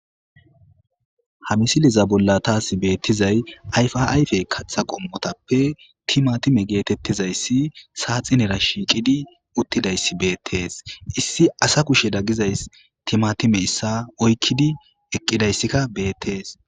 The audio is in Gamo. Ha misiliza bolla taasi beettizay ayfaayfe katha qommotappe timatime geetettizayssi saaxinera shiiqidi uttidayssi beettees issi asa kushe daggizays timatime issa oykkidi eqqidayssikka beettees.